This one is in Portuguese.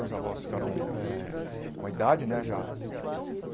Meus avós ficaram eh com a idade, né, já.